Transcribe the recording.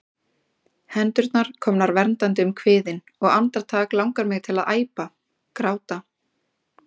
Hendurnar komnar verndandi um kviðinn, og andartak langar mig til að æpa, gráta.